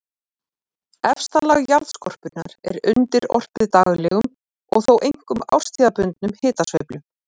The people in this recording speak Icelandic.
Efsta lag jarðskorpunnar er undirorpið daglegum og þó einkum árstíðabundnum hitasveiflum.